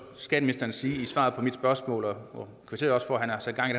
skatteministeren sige i svaret på mit spørgsmål og jeg kvitterede også for at han har sat gang